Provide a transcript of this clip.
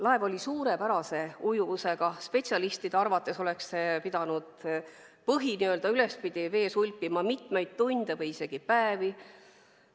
Laev oli suurepärase ujuvusega, spetsialistide arvates oleks see pidanud põhi ülespidi vees hulpima mitmeid tunde või isegi päevi.